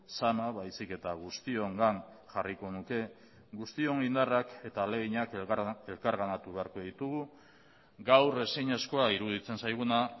zama baizik eta guztiongan jarriko nuke guztion indarrak eta ahaleginak elkarganatu beharko ditugu gaur ezinezkoa iruditzen zaiguna